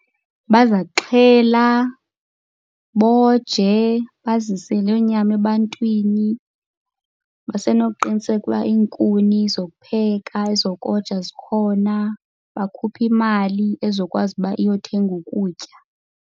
Baza kuxhela, boje, bazise loo nyama ebantwini. Basenokuqiniseka uba iinkuni zokupheka, ezokoja zikhona. Bakhuphe imali ezokwazi uba iyothenga ukutya.